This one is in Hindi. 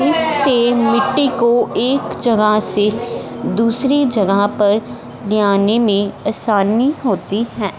इससे मिट्टी को एक जगह से दूसरी जगह पर ले आने में असानी होती है।